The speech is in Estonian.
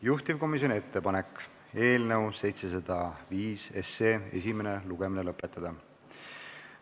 Juhtivkomisjoni ettepanek on eelnõu 705 esimene lugemine lõpetada.